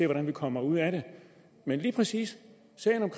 hvordan man kommer ud af det men lige præcis